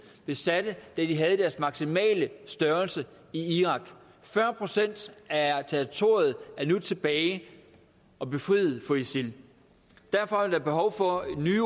besatte da de havde deres maksimale størrelse i irak fyrre procent af territoriet er nu tilbage og befriet fra isil derfor er der behov for nye